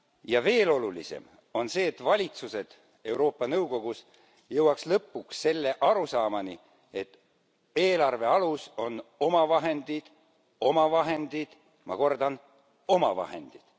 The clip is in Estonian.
Ja veel olulisem on see, et valitsused jõuaksid ELi nõukogus lõpuks selle arusaamani, et eelarve alus on omavahendid, omavahendid, ma kordan omavahendid.